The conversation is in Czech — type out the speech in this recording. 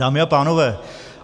Dámy a pánové.